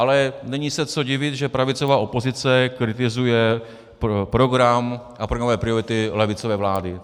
Ale není se co divit, že pravicová opozice kritizuje program a programové priority levicové vlády.